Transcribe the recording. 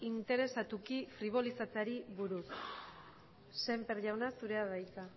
interesatuko fribolizatzeari buruz sémper jauna zurea da hitza